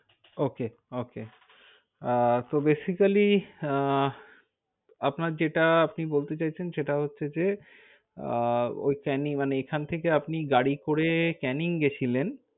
Ok ok আহ তো basically আহ আপনার যেটা আপনি বলতে চাইছেন সেটা হচ্ছে যে আহ ওই কানি~ মানে এখান থেকে আপনি গাড়ি করে ক্যানিং গেছিলেন।